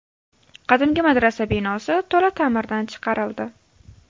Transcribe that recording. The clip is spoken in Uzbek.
Qadimgi madrasa binosi to‘la ta’mirdan chiqarildi.